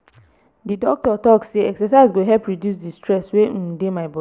di doctor tok sey exercise go help reduce di stress wey um dey my.